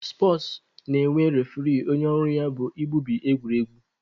Spọtsụ na-enwe refuree onye ọrụ ya bụ igbubi egwuregwu.